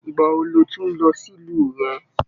Ìgbà wò ló tún n lọ sílù rẹ?